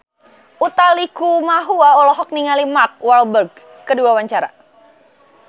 Utha Likumahua olohok ningali Mark Walberg keur diwawancara